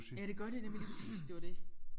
Ja det gør det nemlig lige præcis det var det